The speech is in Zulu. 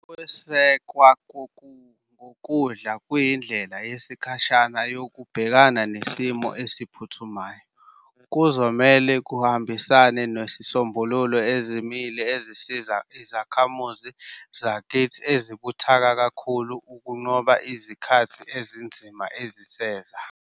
Ukusekwa ngokudla kuyindlela yesikhashana yokubhekana nesimo esiphuthumayo. Kuzomele kuhambisane nezisombululo ezimile ezisiza izakhamuzi zakithi ezibuthaka kakhulu ukunqoba izikhathi ezinzima eziseza.